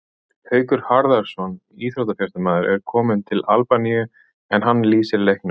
Haukur Harðarson íþróttafréttamaður er kominn til Albaníu en hann lýsir leiknum.